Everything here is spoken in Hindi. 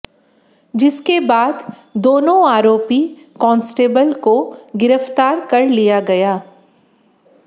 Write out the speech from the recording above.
जिसके बाद दोनों आरोपी कॉन्स्टेबल को गिरफ्तार कर लिया गया